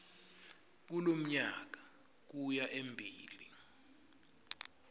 kulomnyaka kuya embili